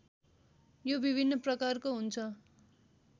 यो विभिन्न प्रकारको हुन्छ